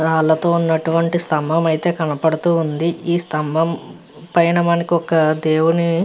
రాళ్లతో ఉన్నటువంటి స్తంబము అయితే కనబడుతూ ఉంది. ఈ స్తంభం పైన మనకి ఒక దేవుని --